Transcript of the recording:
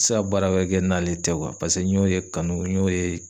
Ti se ka baara wɛrɛ kɛ n'ale tɛ pase n y'o ye kanu n y'o ye